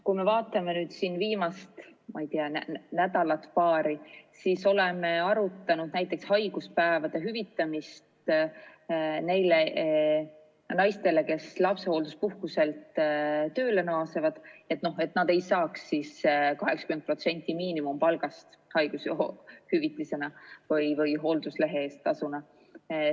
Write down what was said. Kui me vaatame nüüd paari viimast nädalat, siis me oleme arutanud näiteks haiguspäevade hüvitamist neile naistele, kes lapsehoolduspuhkuselt tööle naasevad, et nad ei saaks haigushüvitisena või hoolduslehe tasuna 80% miinimumpalgast.